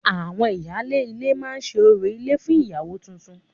Àwọn ìyálé ilé máa ṣe orò ilé fún ìyàwó tuntun